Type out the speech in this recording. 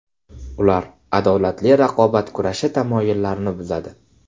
Ular adolatli raqobat kurashi tamoyillarini buzadi.